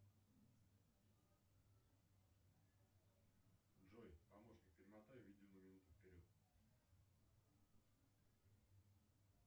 джой помощник перемотай видео на минуту вперед